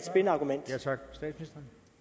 skabe